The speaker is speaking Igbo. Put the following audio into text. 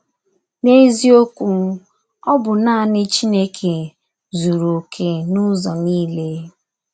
N’eziokwu, ọ bụ naanị Chineke zuru okè n’ụzọ niile.